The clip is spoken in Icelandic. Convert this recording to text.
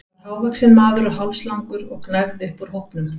Hann var hávaxinn maður og hálslangur og gnæfði upp úr hópnum.